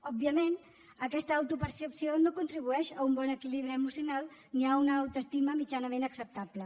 òbviament aquesta autopercepció no contribueix a un bon equilibri emocional ni a una autoestima mitjanament acceptable